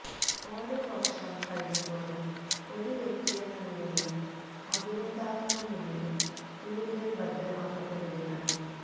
ഓരോ വർഷം കഴിയുന്തോറും ഒരു വ്യക്തിയെന്ന നിലയിലും അഭിനേതാവെന്ന നിലയിലും കൂടുതൽ ഭദ്രമാക്കപ്പെടുകയാണ്